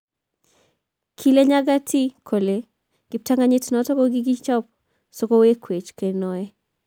Kile Nyantakyi kole kiptanganyit noto kikichop so kewechowech kenoe.